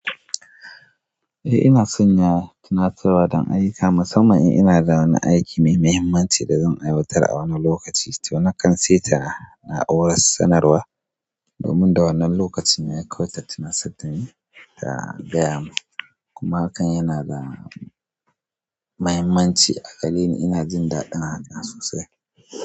Eh ina sanya tunatarwa don ayuka, musamman in ina da wani aiki mai mahimmanci da zan aiwatar a wani lokaci. To na kan saita na'urar sanarwa domin da wannan lokacin ya kai ta tunarsa dani ya gaya min kuma hakan yana da mahimmanci a gareni. Ina jin daɗin hakan sosai.